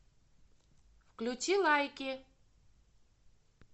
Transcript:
включи лайки